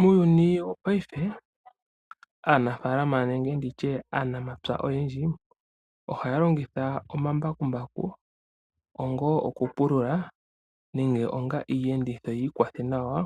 Muuyuni wongashingeyi aanafaalama nenge aanamapya oyendji ohaya longitha omambakumbaku onga okupulula nenge onga Iiyenditho yi ikwathe nayo